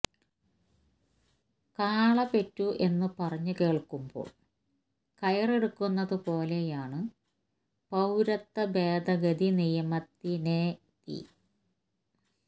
കാള പെറ്റു എന്നു പറഞ്ഞു കേൾക്കുമ്പോൾ കയറെടുക്കുന്നതു പോലെയാണ് പൌരത്വ ഭേദഗതി നിയമത്തിനെതി